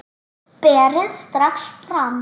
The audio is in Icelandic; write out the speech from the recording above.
Berið strax fram.